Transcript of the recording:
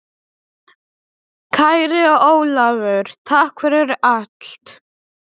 Kæri Ólafur, takk fyrir allt.